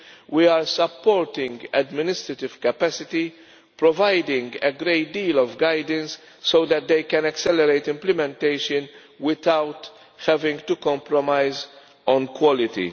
We are supporting administrative capacity, providing a great deal of guidance so that they can accelerate implementation without having to compromise on quality.